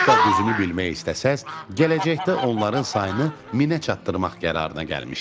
Hətta düzünü bilmək istəsəz gələcəkdə onların sayını minə çatdırmaq qərarına gəlmişdim.